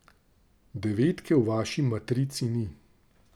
Devetke v vaši matrici ni.